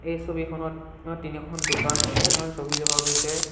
এই ছবিখনত অ তিনিখন দোকানৰ ছবি দেখা গৈছে।